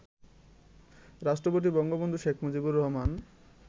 রাষ্ট্রপতি বঙ্গবন্ধু শেখ মুজিবুর রহমান